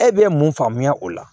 E bɛ mun faamuya o la